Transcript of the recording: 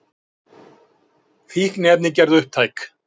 Fíkniefni gerð upptæk